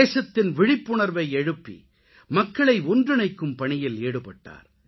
தேசத்தின் விழிப்புணர்வை எழுப்பி மக்களை ஒன்றிணைக்கும் பணியில் ஈடுபட்டார்